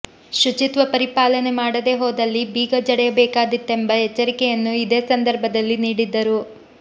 ಶುಚಿತ್ವ ಪರಿಪಾಲನೆ ಮಾಡದೇ ಹೋದಲ್ಲಿ ಬೀಗ ಜಡಿಯಬೇಕಾದಿತ್ತೆಂಬ ಎಚ್ಚರಿಕೆಯನ್ನು ಇದೇ ಸಂದರ್ಭದಲ್ಲಿ ನೀಡಿದ್ದರು